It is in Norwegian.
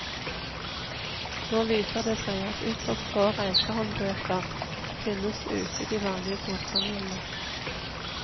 Nå viser det seg at ytterst få reisehåndbøker finnes ute i de vanlige bokhandlene.